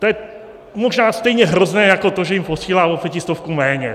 To je možná stejně hrozné jako to, že jim posílá o pětistovku méně.